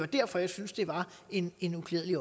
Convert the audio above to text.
derfor jeg synes det var en en uklædelig